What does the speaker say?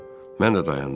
Mən də dayandım.